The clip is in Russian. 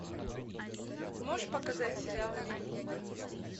можешь показать сериал рим